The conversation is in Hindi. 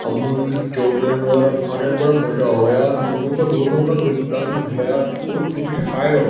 अमूल की चॉकलेट वगैरह खाने में बड़ा मजा आवे यार अमूल को दूध में बड़ा विटामिन यार दूध पीने से फायदा हो --